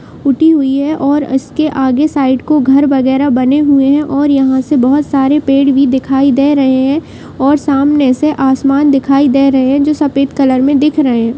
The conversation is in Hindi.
ऊटी हुयी है और इसके आगे साईड को घर वैगेरह बने हुए हैं और यहाँ से बहुत सारे पेड़ भी दिखाई दे रहे हैं और सामने से आसमान दिखाई दे रहे हैं जो सफेद कलर में दिख रहे हैं।